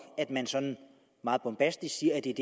at man sådan meget bombastisk siger at det